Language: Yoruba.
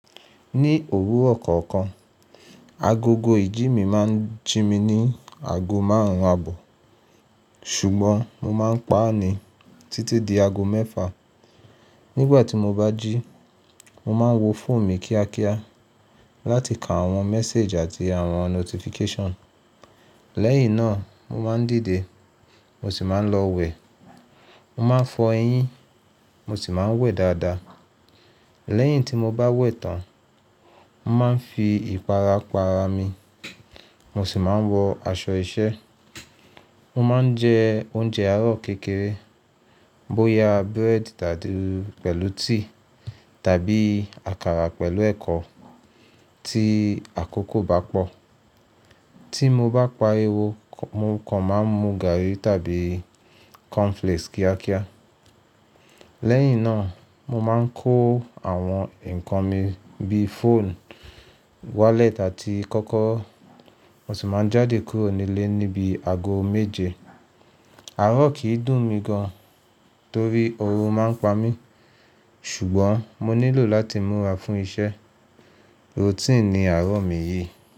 Ní òwúrọ̀ kọ̀ọ̀kan, agogo ìjí mi máa ń jí mi ní ago márùn-ún àbọ̀, ṣùgbọ́n mo máa ń pa á ni títí di ago mẹ́fà. Nígbà tí mo bá jí, mo máa ń wo fóònù mi kíákíá láti ka àwọn message àti àwọn notification. Lẹ́yìn náà, mo máa ń dìde mo sì máa ń lọ wẹ̀. Mo máa ń fọ eyín mo sì máa ń wẹ̀ dáadáa. Lẹ́yìn tí mo bá wẹ̀ tán, mo máa ń fi ìpara pa ara mi, mo sì máa ń wọ aṣọ iṣẹ́. Mo máa ń jẹ oúnjẹ àárọ̀ kékeré bóyá búrẹ́dì pẹ̀lú tíì tàbí àkàrà pẹ̀lú ẹ̀kọ ti àkókò bá pọ̀. Tí mo bá pariwo, mo kàn máa ń mu gàrí tàbí cornflakes kíákíá. Lẹ́yìn náà, mo máa ń kó àwọn ǹkan mi bíi fóònù, wallet àti kokoro, mo sì máa ń jáde kúrò nílé níbi ago méje. Àárọ̀ kì í dùn mí gan torí orun máa ń pa mí, ṣùgbọ́n mo nílò láti múra fún iṣẹ́. Routine ni àárọ̀ mi yìí.